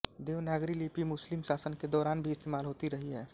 देवनागरी लिपि मुस्लिम शासन के दौरान भी इस्तेमाल होती रही है